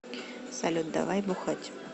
салют давай бухать